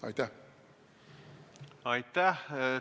Aitäh!